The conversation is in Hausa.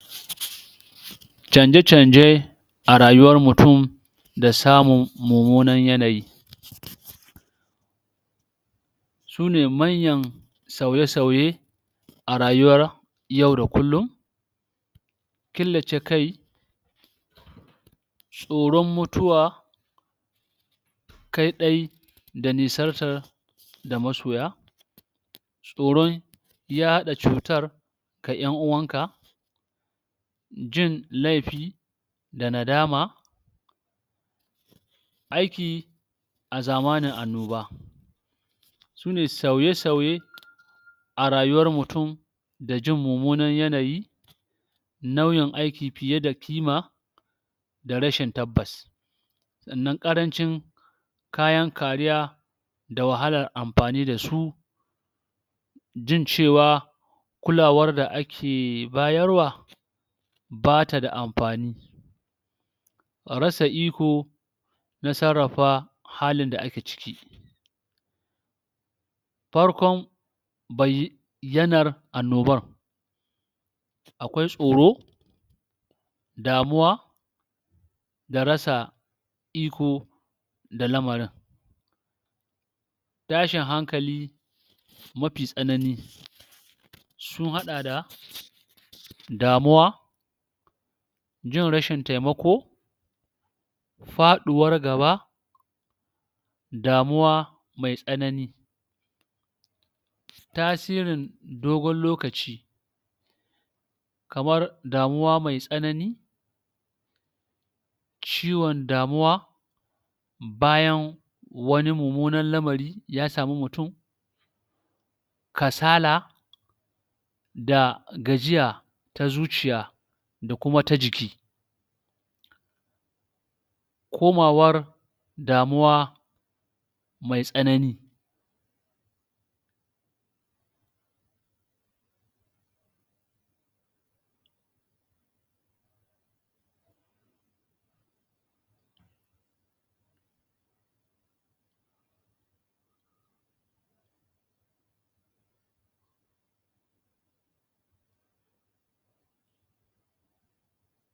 canje-canje a rayuwar mutum da samun mumunar yanayi su ne manyan sauye-sauye a rayuwar yau da kullum killace kai tsoran mutuwa kai ɗai da nisantar da masoya tsoron yaɗa cutar ga yan uwan ka jin laifi da nadama aiki azamana annoba sune sauye-sauye a rayuwar mutum da jin mumunar yanayi nauyin aiki fiye da kima da rashin tabbas sannan ƙarancin kayan kariya da wahalar amfani da su jin cewa kulawar da ake bayarwa ba tada amfani a rasa iko na sarafa halin da ake ciki farkon bai yanar annoban akwai tsoro damuwa da rasa iko da lamarin tashin hankali mafi tsanani sun haɗa da damuwa jin rashin taimako faɗiwar gaba damuwa mai tsanani tasirin dogon lokaci kamar damuwa mai tsanani ciwon damuwa bayan wani mumunan lamari ya samu mutum kasala da gajiya ta zuciya da kuma ta jiki komawar damuwa mai tsanani